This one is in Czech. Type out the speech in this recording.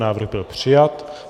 Návrh byl přijat.